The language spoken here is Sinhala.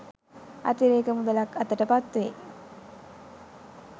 අතිරේක මුදලක් අතට පත්වේ.